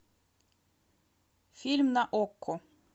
фильм на окко